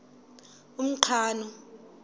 umqhano